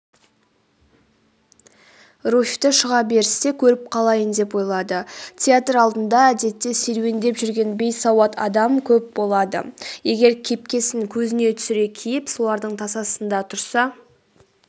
руфьті шыға берісте көріп қалайын деп ойлады театр алдында әдетте серуендеп жүрген бейсауат адам көп болады егер кепкесін көзіне түсіре киіп солардың тасасында тұрса